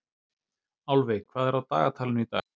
Álfey, hvað er á dagatalinu í dag?